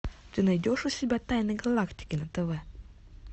ты найдешь у себя тайны галактики на тв